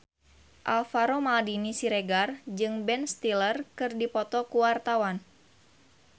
Alvaro Maldini Siregar jeung Ben Stiller keur dipoto ku wartawan